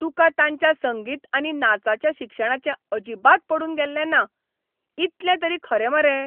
तुका तांच्या संगीत आनी नाचाच्या शिक्षणाचें अजिबात पडून गेल्लें ना, इतलें तरी खरें मरे?